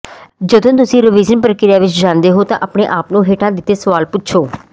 ਜਦੋਂ ਤੁਸੀਂ ਰਵੀਜ਼ਨ ਪ੍ਰਕਿਰਿਆ ਵਿਚ ਜਾਂਦੇ ਹੋ ਤਾਂ ਆਪਣੇ ਆਪ ਨੂੰ ਹੇਠਾਂ ਦਿੱਤੇ ਸਵਾਲ ਪੁੱਛੋ